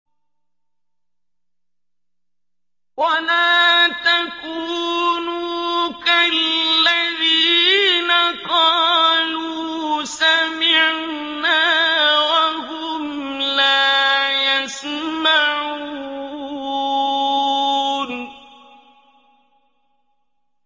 وَلَا تَكُونُوا كَالَّذِينَ قَالُوا سَمِعْنَا وَهُمْ لَا يَسْمَعُونَ